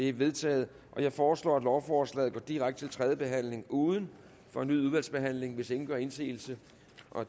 er vedtaget jeg foreslår at lovforslaget går direkte til tredje behandling uden fornyet udvalgsbehandling hvis ingen gør indsigelse